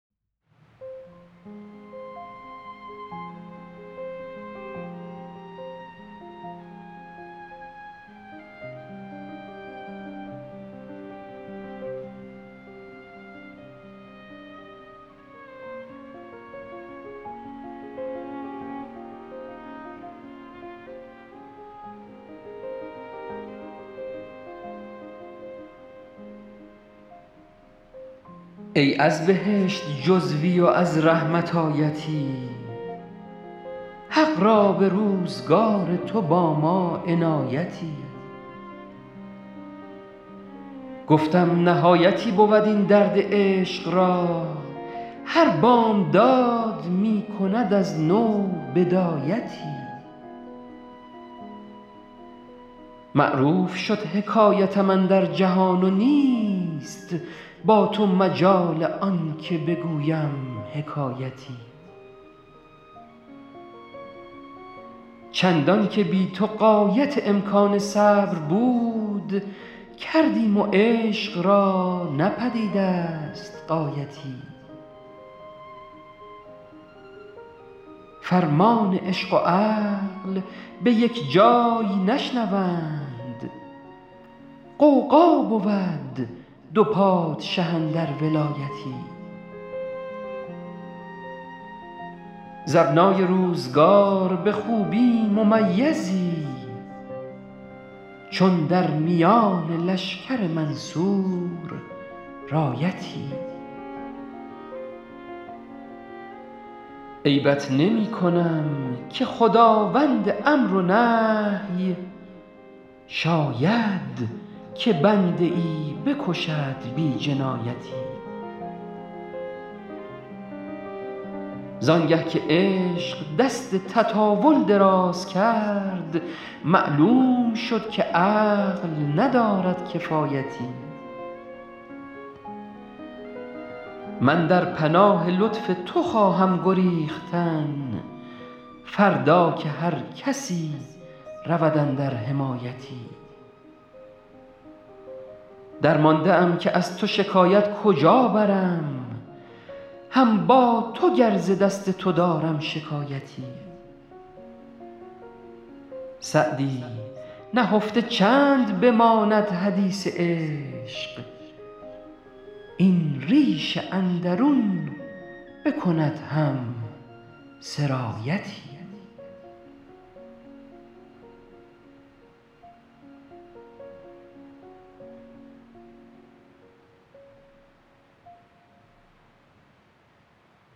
ای از بهشت جزوی و از رحمت آیتی حق را به روزگار تو با ما عنایتی گفتم نهایتی بود این درد عشق را هر بامداد می کند از نو بدایتی معروف شد حکایتم اندر جهان و نیست با تو مجال آن که بگویم حکایتی چندان که بی تو غایت امکان صبر بود کردیم و عشق را نه پدید است غایتی فرمان عشق و عقل به یک جای نشنوند غوغا بود دو پادشه اندر ولایتی ز ابنای روزگار به خوبی ممیزی چون در میان لشکر منصور رایتی عیبت نمی کنم که خداوند امر و نهی شاید که بنده ای بکشد بی جنایتی زان گه که عشق دست تطاول دراز کرد معلوم شد که عقل ندارد کفایتی من در پناه لطف تو خواهم گریختن فردا که هر کسی رود اندر حمایتی درمانده ام که از تو شکایت کجا برم هم با تو گر ز دست تو دارم شکایتی سعدی نهفته چند بماند حدیث عشق این ریش اندرون بکند هم سرایتی